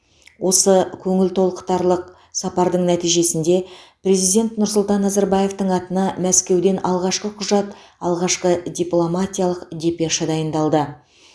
осы көңіл толықтарлық сапардың нәтижесінде президент нұрсұлтан назарбаевтың атына мәскеуден алғашқы құжат алғашқы дипломатиялық депеша дайындалды